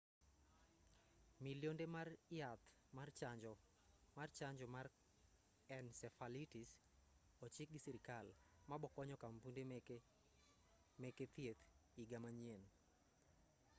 millionde mar yath mar chanjo mar encephalitis ochikgi sirikal ma bokonyo kampunde meke thieth iga manyien